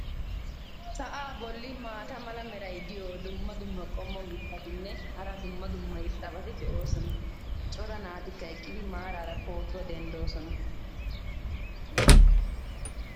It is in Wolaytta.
sa"aa boli maata mala meray diyo dumma dumma qommo mitattinne hara dumma dumma irxxabati de'oosona. cora naatikka eqqidi maaraara pootuwa denddoosona.